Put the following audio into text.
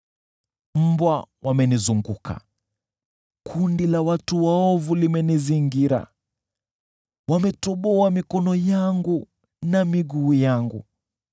Mbwa wamenizunguka, kundi la watu waovu limenizingira, wametoboa mikono yangu na miguu yangu.